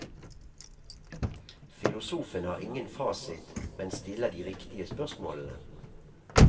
Filosofen har ingen fasit, men stiller de riktige spørsmålene.